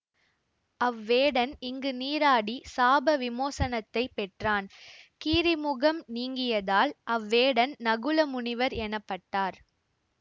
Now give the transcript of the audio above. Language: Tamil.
அவ் வேடன் இங்கு நீராடி சாப விமோசனத்தைப் பெற்றான் கீரிமுகம் நீங்கியதால் அவ்வேடன் நகுல முனிவர் எனப்பட்டார்